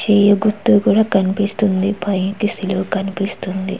చేయి గుర్తు కూడా కనిపిస్తుంది. పైకి సిలువ కనిపిస్తుంది.